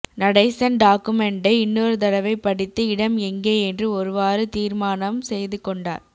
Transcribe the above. நடேசன் டாக்குமெண்டை இன்னொரு தடவை படித்து இடம் எங்கே என்று ஒருவாறு தீர்மானம் செய்து கொண்டார்